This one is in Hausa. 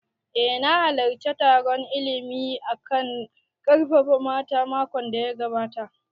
Eh na halarci taron illimin a kan ƙarfafa mata makon da ya gabata